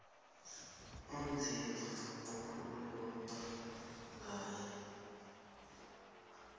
onzima ekukhulunywa ngaye